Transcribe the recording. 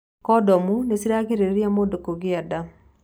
Kondomu nĩ cirigagĩrĩria mũndũ kũgĩa nda.